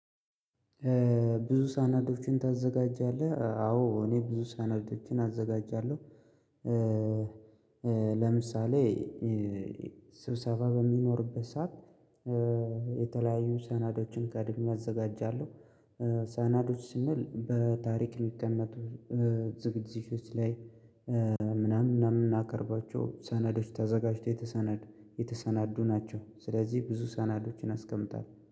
ብዙ ሰነዶችን ታዘጋጃለህ? አዎ እኔ ብዙ ሰነዶችን አዘጋጃለሁ። ለምሳሌ ስብሰባ በሚኖርበት ሰዓት። የተለያዩ ሰነዶችን ቀድሜ አዘጋጃለሁ። ሳነዶች ስንል በታሪክ ሊቀመጡ ዝግጅቶች ላይ ምናምን ምናምን የምናከርባቸው ሰነዶች ታዘጋጁት። የተሰነድ ናቸው ስለዚህ ብዙ ሰናዶችን አስቀምጣለሁ